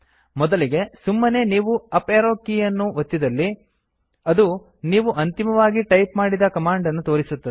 ಮೊದಲಿಗೆ ಸುಮ್ಮನೆ ನೀವು ಅಪ್ ಏರೋ ಕೀ ಯನ್ನು ಒತ್ತಿದಲ್ಲಿ ಅದು ನೀವು ಅಂತಿಮವಾಗಿ ಟೈಪ್ ಮಾಡಿದ ಕಮಾಂಡ್ ಅನ್ನು ತೋರಿಸುತ್ತದೆ